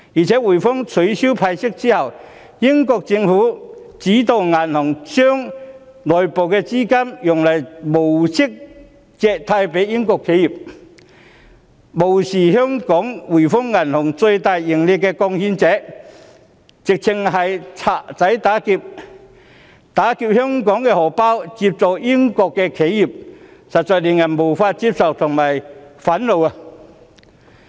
在滙豐銀行取消派息後，英國政府指導該銀行將內部資金以無息借貸予英國企業，做法無視香港滙豐銀行是最大的盈利貢獻者，簡直是"賊仔打劫"，拿香港的錢接濟英國的企業，實在令人無法接受及憤怒。